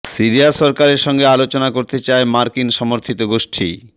Syria সরকারের সঙ্গে আলোচনা করতে চায় মার্কিন সমর্থিত গোষ্ঠী